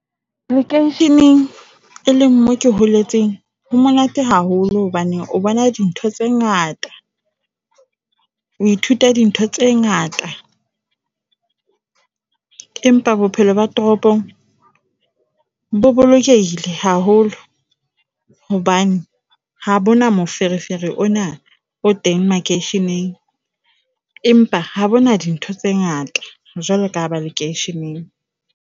lekeisheneng e leng mo ke holetseng ho monate haholo hobane o bona dintho tse ngata. O ithuta di ntho tse ngata, empa bophelo ba toropong bo bolokehile haholo hobane ha bona moferefere ona o teng makeisheneng, empa ha bona dintho tse ngata jwalo ka ba lekeisheneng.